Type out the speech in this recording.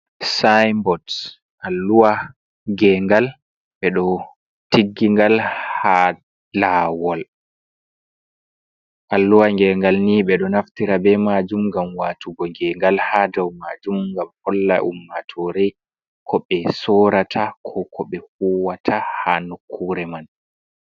siynbots alluwa gengal, ɓe ɗo tiggigal ha lawol, alluha gengal ni ɓe ɗo naftira be majum gam watugo gegal ha dau majum, ngam holla ummatore ko ɓe sorata ko ko ɓe huwata ha nukkure man.